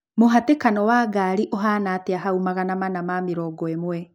mũhatĩkano wa ngari ũhaana Ĩtĩa haũ magana manaa ma mĩrongo ĩmwe